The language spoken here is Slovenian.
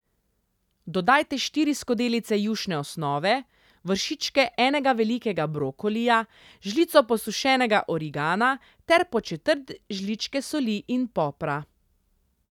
Dodajte štiri skodelice jušne osnove, vršičke enega velikega brokolija, žlico posušenega origana ter po četrt žličke soli in popra.